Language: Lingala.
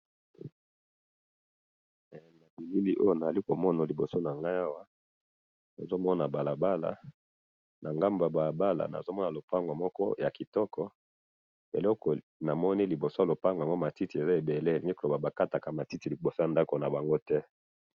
Na moni lopango na matiti ebele pembeni ya balabala.